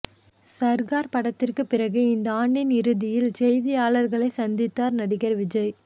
சர்கார் படத்துக்கு பிறகு இந்த ஆண்டின் இறுதியில் செய்தியாளர்களை சந்தித்தார் நடிகர் விஜய்